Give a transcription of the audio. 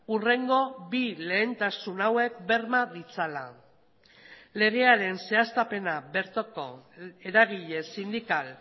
hurrengo bi lehentasun hauek berma ditzala legearen zehaztapena bertoko eragile sindikal